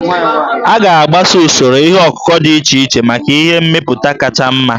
A ga-agbaso usoro ihe ọkụkụ dị iche iche maka ihe mmepụta kacha mma